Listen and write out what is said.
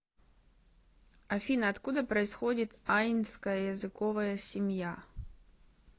афина откуда происходит айнская языковая семья